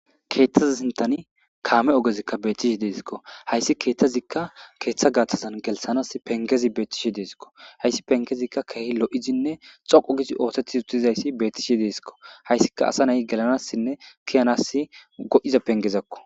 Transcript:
keeththaza sintani kaame ogezikka bettishi deesikko hayssi keeththazikka keeththa gaaththazan gelsanas pengezi beettishi deesikko hayssi pengezikka keehi lo7izinne xoqo gisi ootethi utizayssi bettishe deesikko hayssika asa nay gelanassinne kiyanas go7iza pengezakko